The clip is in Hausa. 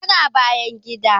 Tana bayan gida